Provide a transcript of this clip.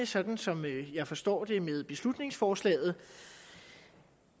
sådan som jeg forstår det er med beslutningsforslaget